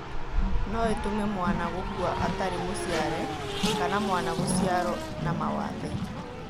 No ĩtũme mwana gũkua atarĩ mũciare kana mwana gũciarwo na mawathe.